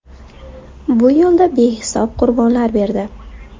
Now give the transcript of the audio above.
Bu yo‘lda behisob qurbonlar berdi.